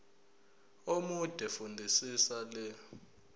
omude fundisisa le